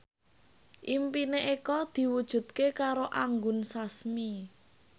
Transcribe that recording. impine Eko diwujudke karo Anggun Sasmi